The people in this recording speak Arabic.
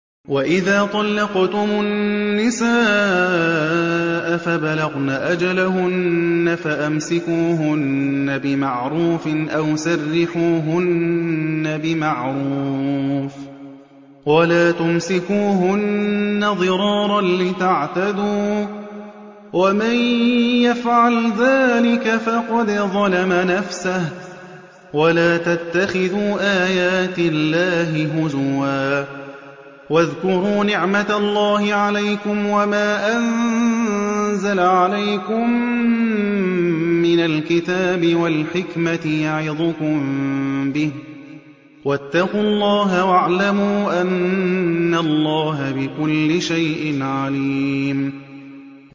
وَإِذَا طَلَّقْتُمُ النِّسَاءَ فَبَلَغْنَ أَجَلَهُنَّ فَأَمْسِكُوهُنَّ بِمَعْرُوفٍ أَوْ سَرِّحُوهُنَّ بِمَعْرُوفٍ ۚ وَلَا تُمْسِكُوهُنَّ ضِرَارًا لِّتَعْتَدُوا ۚ وَمَن يَفْعَلْ ذَٰلِكَ فَقَدْ ظَلَمَ نَفْسَهُ ۚ وَلَا تَتَّخِذُوا آيَاتِ اللَّهِ هُزُوًا ۚ وَاذْكُرُوا نِعْمَتَ اللَّهِ عَلَيْكُمْ وَمَا أَنزَلَ عَلَيْكُم مِّنَ الْكِتَابِ وَالْحِكْمَةِ يَعِظُكُم بِهِ ۚ وَاتَّقُوا اللَّهَ وَاعْلَمُوا أَنَّ اللَّهَ بِكُلِّ شَيْءٍ عَلِيمٌ